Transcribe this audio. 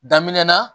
Daminɛ na